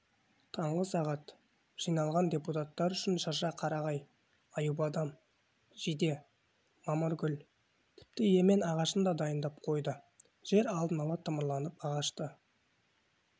таңғы сағат жиналған депуттар үшін шырша қарағай аюбадам жиде мамыргүл тіпті емен ағашын да дайындап қойды жер алдын ала тырмаланып ағашты